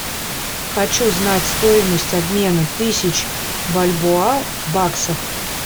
хочу знать стоимость обмена тысяч бальбоа в баксах